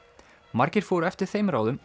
margir fóru eftir þeim ráðum